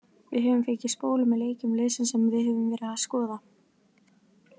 Við höfum fengið spólu með leikjum liðsins sem við höfum verið að skoða.